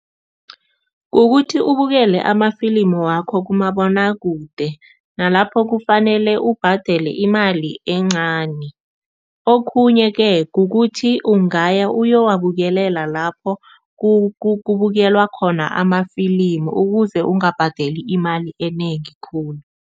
Kukuthi ubukele amafilimu wakho kumabonwakude, nalapho kufanele ubhadele imali encani. Okhunye-ke kukuthi ungaya uyowabukelela lapho kubukelwa khona amafilimu ukuze ungabhadeli imali enengi khulu.